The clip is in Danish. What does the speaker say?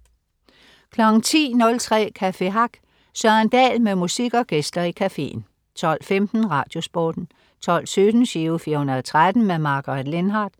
10.03 Café Hack. Søren Dahl med musik og gæster i cafeen 12.15 Radiosporten 12.17 Giro 413. Margaret Lindhardt